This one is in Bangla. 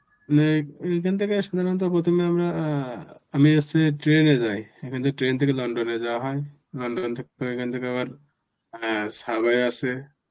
মানে এখান থেকে সাধারণত প্রথমে আমরা অ্যাঁ আমি এসছি train এ যাই. এখান থেকে train থেকে লন্ডনে যাওয় হয়. লন্ডনে এখান থেকে আবার subway আছে,